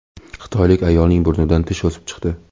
Xitoylik ayolning burnidan tish o‘sib chiqdi.